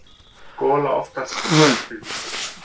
gola oftast bjartviðri.